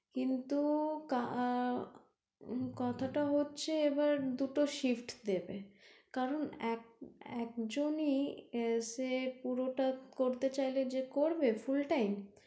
কিন্তু আহ কথাটা হচ্ছে এবার দুটো shift দেবে কারণ এক~একজন ই এসে পুরোটা করতে চাইলে যে করবে full time